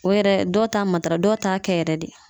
O yɛrɛ dɔw ta matara dɔw t'a kɛ yɛrɛ de